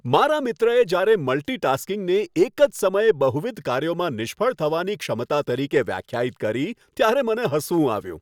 મારા મિત્રએ જ્યારે મલ્ટી ટાસ્કિંગને એક જ સમયે બહુવિધ કાર્યોમાં નિષ્ફળ થવાની ક્ષમતા તરીકે વ્યાખ્યાયિત કરી, ત્યારે મને હસવું આવ્યું.